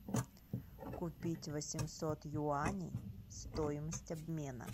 купить восемьсот юаней стоимость обмена